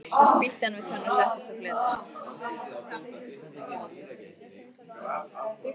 Svo spýtti hann við tönn og settist á fletið.